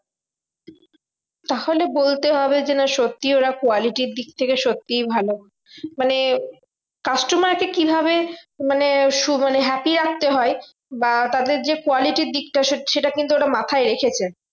তাহলে বলতে হবে যে না সত্যি ওরা quality র দিক থেকে সত্যি ভালো। মানে customer কে কিভাবে মানে মানে happy রাখতে হয়? বা তাদের যে quality র দিকটা সে সেটা কিন্তু ওরা মাথায় রেখেছে।